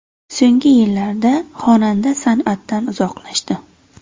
So‘nggi yillarda xonanda san’atdan uzoqlashdi.